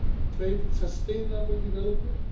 trade and sustainable development